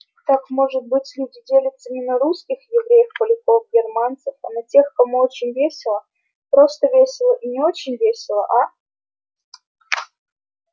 так может быть люди делятся не на русских евреев поляков германцев а на тех кому очень весело просто весело и не очень весело а